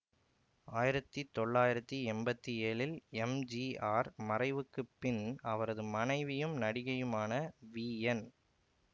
ஆயிரத்தி தொள்ளாயிரத்தி எம்பத்தி ஏழில் எம்ஜிஆர் மறைவுக்கு பின் அவரது மனைவியும் நடிகையுமான விஎன்